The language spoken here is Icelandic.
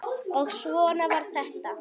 Og svona var þetta.